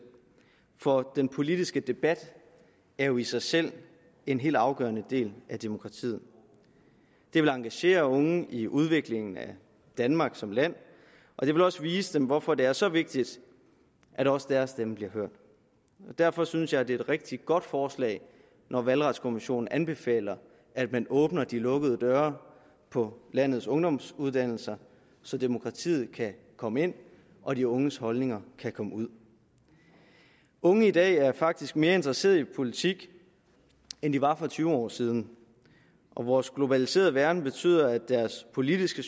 for den politiske debat er jo i sig selv en helt afgørende del af demokratiet det vil engagere unge i udviklingen af danmark som land og det vil også vise dem hvorfor det er så vigtigt at også deres stemme bliver hørt derfor synes jeg det er et rigtig godt forslag når valgretskommissionen anbefaler at man åbner de lukkede døre på landets ungdomsuddannelsesinstitutioner så demokratiet kan komme ind og de unges holdninger kan komme ud unge i dag er faktisk mere interesseret i politik end de var for tyve år siden vores globaliserede verden betyder at deres politiske